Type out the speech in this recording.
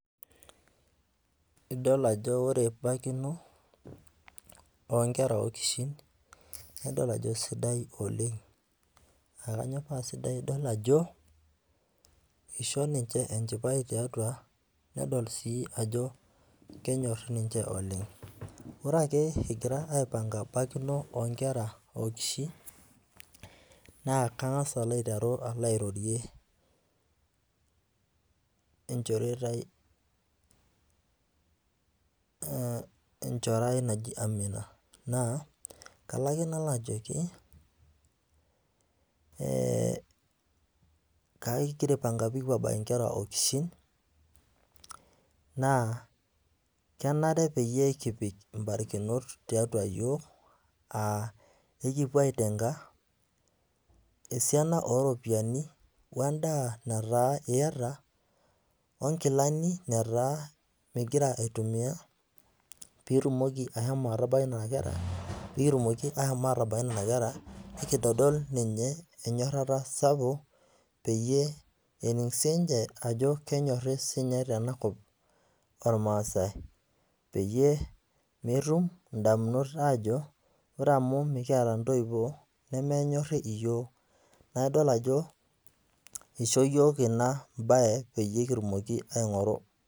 Idol ajo ore baikino oo nkera okishin naa idol ajo keisidai oleng'. aa kanyio paa sidai, idol ajo, eisho ninche enchipai tiatua ninche nedol ajo kenyori ninche oleng'. Ore ake egirai aipang'a bakino oo nkera okishin, naa kangas aiteru alo airrorie enchore ai naji Amina. Kalo ake nalo aajoki, kengira aipang'a pee kipuo abaiki i nkera okishin, naa kenare peyie kipik imbarikinot tiatu iyiok, aa ekipuo aiteng'a esiana oo iropiani we endaa nataa iata o nkilaani nataa mimng'ira aitumiya piitumoki ashomo atabaiki nena kera, pee kitumoki ashom atabaiki nena kera, nekintodol ninche enyorata sapuk, peyie ening' sii ninche peyie edol sii ninche ajo kenyori ninche tenakop olmaasi peyie metum indamunot aajo, ore amu mekiata intoiwuo nemenyori iyiok naa idol ajo eisho iyiok ina baye peyie kitumoki aing'oru.